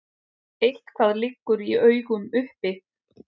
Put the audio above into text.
Eitthvað liggur í augum uppi